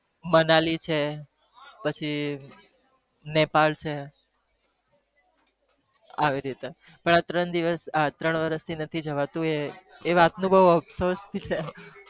મનાલી છે પછી નેપા છે આવી રીતે